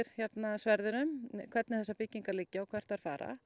sverðinum hvernig þessar byggingar liggja og hvert þær fara